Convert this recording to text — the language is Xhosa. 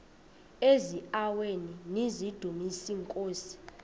eziaweni nizidumis iinkosi